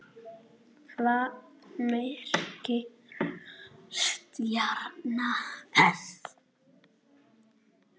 Hvað merkir stjarna þessi?